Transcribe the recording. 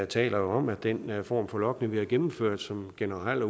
taler jo om at den form for logning vi har gennemført sådan generelt